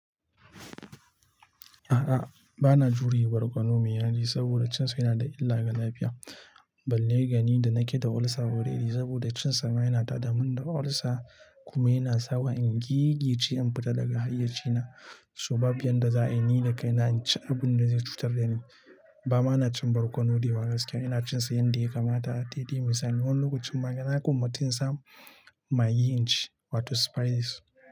A'a, ba na juriye barkono mai yaji saboda cin sa yana da illa ga lafiya. Balle l gani da na ke da olsa already saboda cin sa ma yana tada mun da olsa kuma yana sawa in gigice in fita daga hayyaci na. So babu yan da za'ayi ni dakai na inci abun da zai cutar dani. Bama na cin barkono daiwa gaske, ina cin sa yanda ya kamata dede misali. Wani lokacin ma nagwammaci insamu magi inci wato spices.